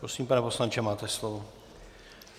Prosím, pane poslanče, máte slovo.